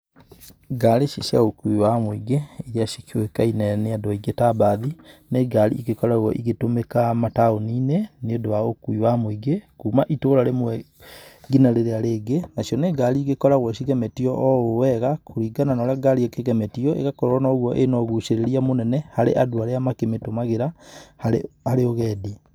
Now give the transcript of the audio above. Ngari ici cia ũkui wa mũingĩ, iria cikĩũĩkaine nĩ andũ aingĩ ta mbathi, nĩ ngari igĩkoragwo igĩtũmĩka mataũni-inĩ, nĩ ũndũ wa ũkui wa mũingĩ kuma itũra rĩmwe nginya rĩrĩa rĩngĩ, nacio nĩ ngari igĩkoragwo cigemetio o ũũ wega. Kũringana na ũrĩa ngari ĩkĩgemetio, ĩgakorwo noguo ĩna ũgucĩrĩria mũnene harĩ andũ arĩa makĩmĩtũmagĩra harĩ ũgendi.